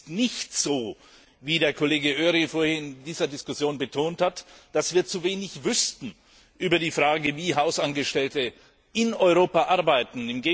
Es ist nicht so wie der Kollege Öry vorhin in dieser Diskussion betont hat dass wir zu wenig wüssten über die Frage, wie Hausangestellte in Europa arbeiten.